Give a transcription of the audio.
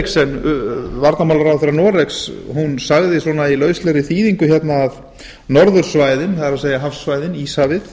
eriksen varnarmálaráðherra noregs sagði svona í lauslegri þýðingu að norðursvæðin það er hafsvæði íshafið